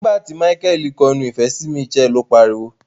Nigbati Michael ko ẹnu ìfẹ sí Mitchell, o pariwo.